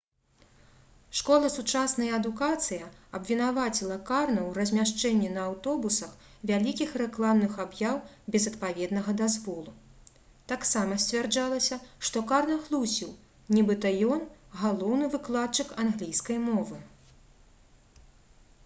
школа «сучасная адукацыя» абвінаваціла карна ў размяшчэнні на аўтобусах вялікіх рэкламных аб'яў без адпаведнага дазволу. таксама сцвярджалася што карна хлусіў нібыта ён — галоўны выкладчык англійскай мовы